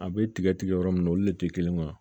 A bɛ tigɛ tigɛ yɔrɔ min na olu de tɛ kelen ye wa